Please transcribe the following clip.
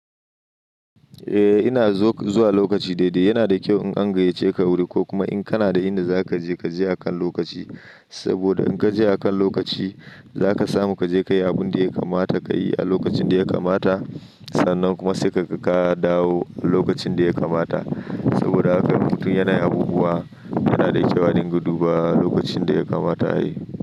Eh ina zuwa lokaci daidai yana da kyau in an gayyace ka wuri ko kuma in kana da inda za ka je ka je akan lokaci. Saboda in ka je akan lokaci za ka samu ka je ka yi abun da ya kamata ka yi a lokacin da ya kamata. Sannan kuma sai ka dawo a lokacin da ya kamata. Saboda akwai duk yanayin abubuwa yana da kyau a dinga duba lokacin da ya kamata a yi.